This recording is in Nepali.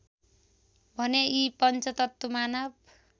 भने यी पञ्चतत्त्व मानव